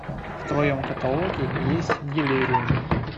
в твоем каталоге есть делириум